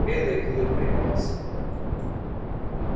белый клык припал к земле